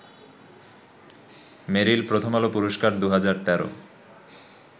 মেরিল প্রথম আলো পুরস্কার ২০১৩